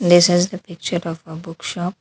This is the picture of book shop.